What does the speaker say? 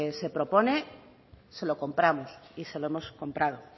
se propone se lo compramos y se lo hemos comprado